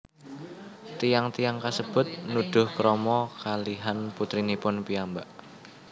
Tiyang tiyang kasebut nuduh krama kalihan putrinipun piyambak